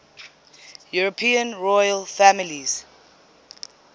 european royal families